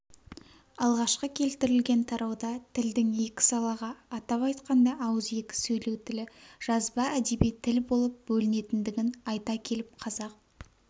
алғашқы келтірілген тарауда тілдің екі салаға атап айтқанда ауызекі сөйлеу тілі жазба әдеби тіл болып бөлінетіндігін айта келіп қазақ